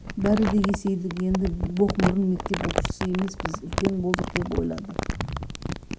бәрі де есейдік енді боқмұрын мектеп оқушысы емеспіз үлкен болдық деп ойлады